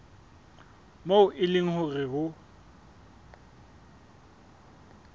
moo e leng hore ho